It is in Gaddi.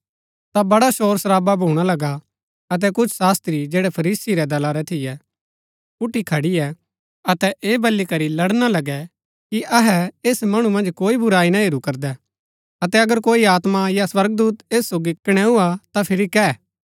ता बड़ा शोरशरावा भूणा लगा अतै कुछ शास्त्री जैड़ै फरीसी रै दला रै थियै उठी खड़ियै अतै ऐह बली करी लड़णा लगै कि अहै ऐस मणु मन्ज कोई बुराई ना हेरू करदै अतै अगर कोई आत्मा या स्वर्गदूत ऐस सोगी कणैऊ हा ता फिरी कै